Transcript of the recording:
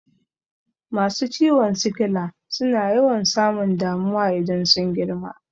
Masu ciwon sikila suna yawan samun damuwa idan sun girma